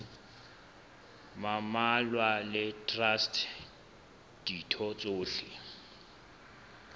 mmalwa le traste ditho tsohle